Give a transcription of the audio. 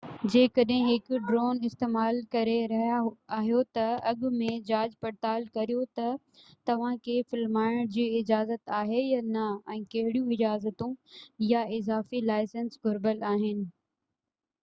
جيڪڏهن هڪ ڊرون استعمال ڪري رهيا آهيو ته اڳ ۾ جاچ پڙتال ڪريو ته توهان کي فلمائڻ جي اجازت آهي يا نه ۽ ڪهڙيون اجازتون يا اضافي لائسنس گهربل آهي